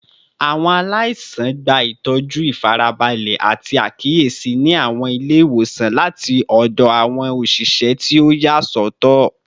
Awọn alaisan gba itọju ifarabalẹ ati akiyesi ni awọn ile-iwosan lati ọdọ awọn oṣiṣẹ ti o yasọtọ